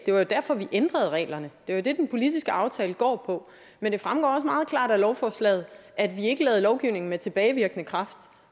det var jo derfor vi ændrede reglerne det er jo det den politiske aftale går på men det fremgår meget klart af lovforslaget at vi ikke lavede lovgivning med tilbagevirkende kraft